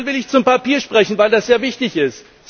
Dann will ich zum Papier sprechen, weil das sehr wichtig ist.